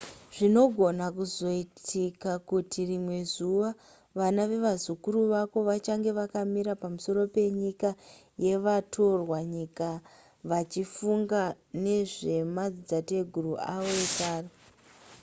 zvinogona kuzoitika kuti rimwe zuva vana vevazukuru vako vachange vakamira pamusoro penyika yevatorwa nyika vachifunga nezvemadzitateguru avo ekare